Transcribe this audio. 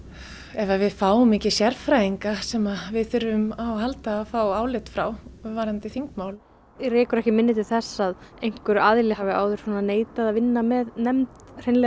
ef að við fáum ekki sérfræðinga sem við þurfum að fá álit frá varðandi þingmál þig rekur ekki minni til þess að einhver aðili hafi áður neitað að vinna með nefnd hreinlega